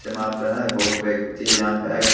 ये माप रहा है। बहुत व्यक्ति है यहाँ पे अगल --